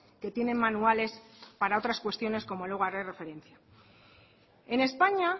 que tienen manuales para otras cuestiones como luego haré referencia en españa